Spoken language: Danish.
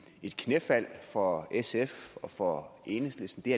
et knæfald for sf og for enhedslisten det